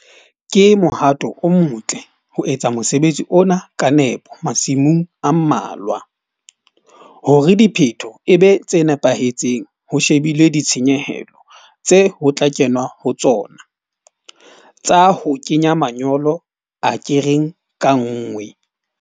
Ke mohato o motle ho etsa mosebetsi ona ka nepo masimong a mmalwa hore diphetho e be tse nepahetseng ho shebilwe ditshenyehelo tseo ho tla kenwa ho tsona tsa ho kenya manyolo akereng ka nngwe.